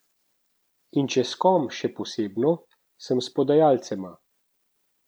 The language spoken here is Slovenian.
In če s kom še posebno, sem s podajalcema.